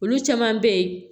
Olu caman bɛ ye